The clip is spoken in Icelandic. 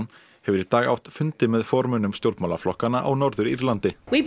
hefur í dag átt fundi með formönnum stjórnmálaflokkanna á Norður Írlandi rýma